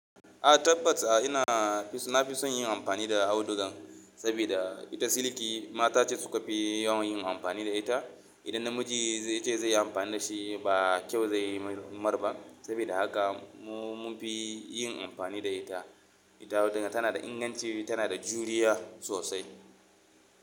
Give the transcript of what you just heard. A tabbata ina fi, na fi son yin amfani da audugan saboda ita siliki mata ce suka fi yawan yin amfani da ita. Idan namiji ya ce zai yi amfani da shi ba kyau zai mar ba. Saboda haka mu mun fi yin amfani da ita. Ita auduga tana da inganci, tana da juriya sosai.